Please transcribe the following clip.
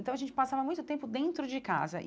Então a gente passava muito tempo dentro de casa e.